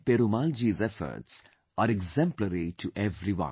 Perumal Ji's efforts are exemplary to everyone